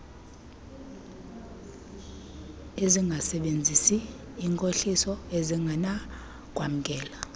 ezingasebenzisi iinkohliso ezingenakwamkela